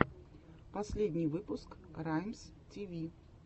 последний выпуск раймстиви